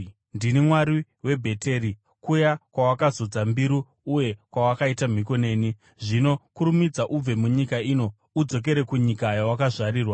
Ndini Mwari weBheteri, kuya kwawakazodza mbiru uye kwawakaita mhiko neni. Zvino kurumidza ubve munyika ino udzokere kunyika kwawakazvarirwa.’ ”